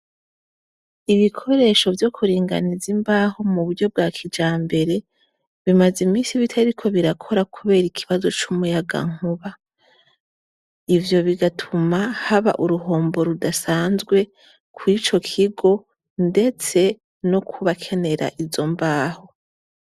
Ibikoresho vyo kuringaniza imbaho mu buryo bwa kija mbere bimaze imisi bitariko birakora, kubera ikibazo c'umuyaga nkuba ivyo bigatuma haba uruhombo rudasanzwe kw ico kigo, ndetse no kubakenera izo mbaho.